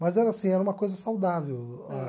Mas era assim era uma coisa saudável a